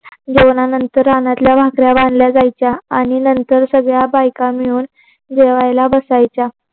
जेवण नंतर रानातल्या भाकऱ्या बांधल्या जायच्या आणि नंतर सगळ्या बायका मिळून जेवायला बसायच्या.